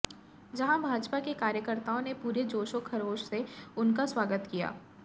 जहाँ भाजपा के कार्यकर्ताओं ने पुरे जोशों खरोश से उनका स्वागत किया है